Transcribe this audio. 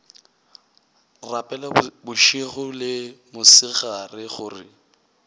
rapela bošego le mosegare gore